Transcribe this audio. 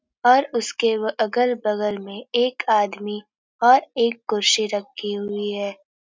और उसके उ अगल बगल में एक आदमी और एक कुर्सी रखी हुई है।